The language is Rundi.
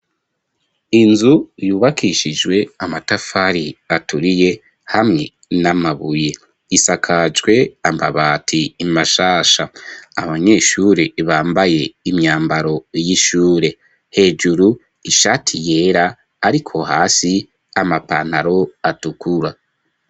Inzu yubakishijwe amatafari aturiye hamwe n'amabuye isakajwe amabati mashasha abanyeshure bambaye imyambaro y'ishure hejuru ishati yera ariko hasi amapantaro atukura.